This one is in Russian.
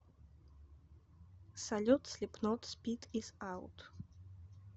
салют слипнот спид ис аут